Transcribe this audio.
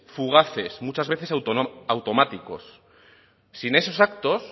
fugaces muchas veces automáticos sin esos actos